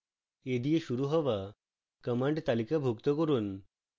a দিয়ে শুরু হওয়া commands তালিকাভুক্ত করুন